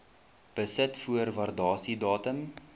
besit voor waardasiedatum